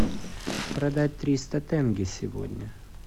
продать триста тенге сегодня